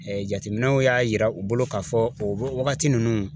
jateminɛw y'a yira u bolo k'a fɔ o wagati ninnu